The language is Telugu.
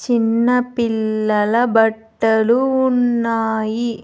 చిన్నపిల్లల బట్టలు ఉన్నాయి.